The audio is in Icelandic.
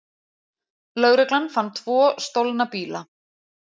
Lögreglan fann tvo stolna bíla